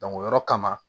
o yɔrɔ kama